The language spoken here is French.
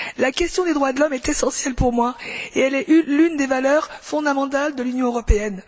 La question des droits de l'homme est essentielle pour moi et elle est l'une des valeurs fondamentales de l'Union européenne.